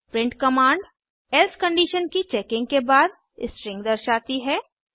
print command else condition की checking के बाद स्ट्रिंग दर्शाती है